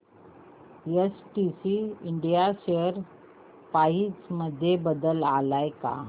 STC India share price मध्ये बदल आलाय का